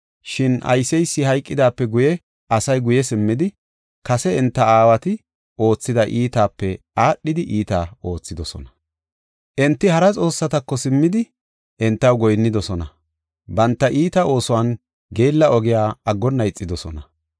Shin ayseysi hayqidaape guye, asay guye simmidi, kase enta aawati oothida iitaape aadhida iita oothidosona. Enti hara xoossatako simmidi, entaw goyinnidosona. Banta iita oosuwanne geella ogiya aggonna ixidosona.